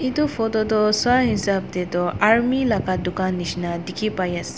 etu photo toh sua hisib te tu army laga dukan jisna dekhi pai ase.